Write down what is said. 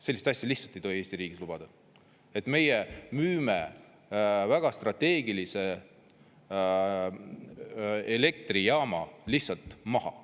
Selliseid asju lihtsalt ei tohi Eesti riigis lubada, et meie müüme väga strateegilise elektrijaama lihtsalt maha.